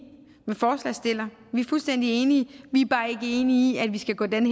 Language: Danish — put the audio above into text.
med forslagsstillerne vi er fuldstændig enige vi er bare ikke enige i at vi skal gå den